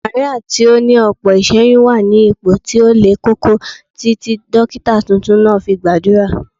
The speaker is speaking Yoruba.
Màríà tí ó ní ọ̀pọ̀ iṣẹ́yún wà ní ipò tí ó le koko títí dókítà tuntun náà fi gbàdúrà